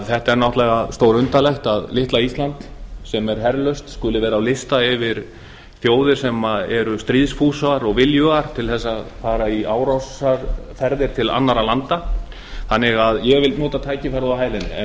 þetta er náttúrulega stórundarlegt að litla ísland sem er herlaust skuli vera á lista yfir þjóðir sem eru stríðsfúsar og viljugar til þess að fara í árásarferðir til annarra landa þannig að ég vil nota tækifærið og hæla henni en